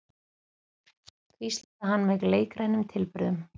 hvíslaði hann með leikrænum tilburðum.